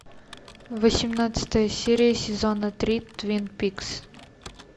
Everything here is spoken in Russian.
восемнадцатая серия сезона три твин пикс